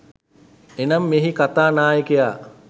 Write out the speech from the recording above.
එනම්, මෙහි කතා නායකයා